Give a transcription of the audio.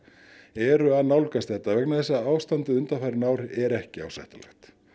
eru að nálgast þetta vegna þess að ástandið undanfarin ár er ekki ásættanlegt